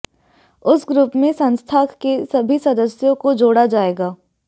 उस ग्रुप में संस्था के सभी सदस्यों को जोड़ा जाएगा